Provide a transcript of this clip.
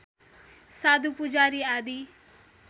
साधु पुजारी आदि